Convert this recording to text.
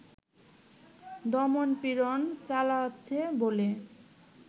দমন-পীড়ন চালাচ্ছে বলে